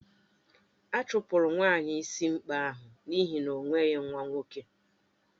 A chụpụrụ nwaanyị ịsị ikpe ahụ n'ihi na o nweghị nwa nwoke